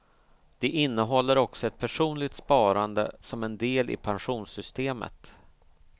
Det innehåller också ett personligt sparande som en del i pensionssystemet.